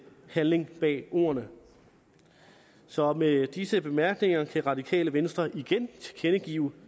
handling bag ordene så med disse bemærkninger kan radikale venstre igen tilkendegive